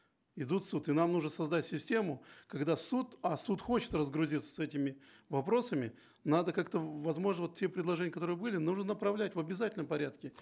идут в суд и нам нужно создать систему когда суд а суд хочет разгрузиться с этими вопросами надо как то возможно вот те предложения которые были нужно направлять в обязательном порядке